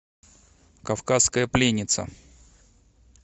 кавказская пленница